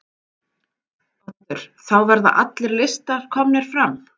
Oddur: Þá verða allir listar komnir fram?